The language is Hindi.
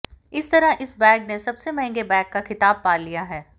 इस तरह इस बैग ने सबसे महंगे बैग का खिताब पा लिया है